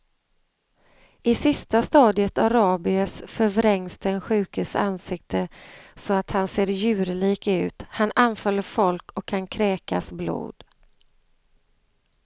I sista stadiet av rabies förvrängs den sjukes ansikte så att han ser djurlik ut, han anfaller folk och kan kräkas blod.